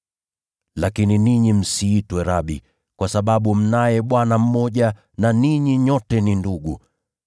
“Lakini ninyi msiitwe ‘Rabi,’ kwa sababu mnaye Bwana mmoja na ninyi nyote ni ndugu.